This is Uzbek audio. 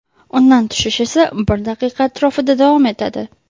Undan tushish esa bir daqiqa atrofida davom etadi.